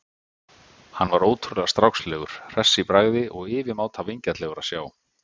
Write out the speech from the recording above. Hann var ótrúlega strákslegur, hress í bragði og yfirmáta vingjarnlegur að sjá.